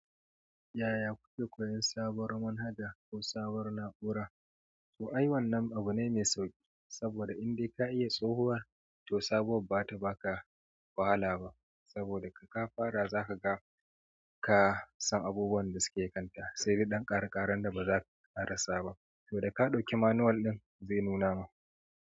Yaya kuke koyan sabuwar manhaja ko sabuwar na'ura? To ai wannan abu ne mai sauki. Saboda in dai ka iya tsohuwa to sabuwar baza ta baka wahala ba saboda da ka fara zaka ga ka san abubuwan da take kanta sai dan kare karen da baza'a rasa ba to da ka ɗauki manual ɗin zai nuna ma.